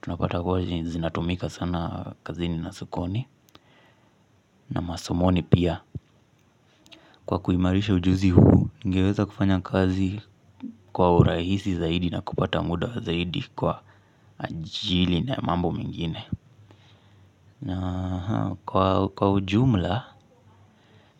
Tunapata kuwa zinatumika sana kazini na sokoni na masomoni pia. Kwa kuimarisha ujuzi huu ningeweza kufanya kazi kwa urahisi zaidi na kupata muda zaidi kwa ajili na mambo mengine. Na kwa ujumla,